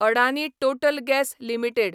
Adani Total Gas limited